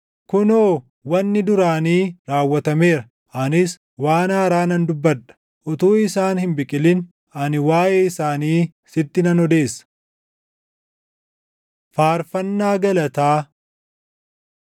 Kunoo wanni duraanii raawwatameera; anis waan haaraa nan dubbadha; utuu isaan hin biqilin, ani waaʼee isaanii sitti nan odeessa.” Faarfannaa Galataa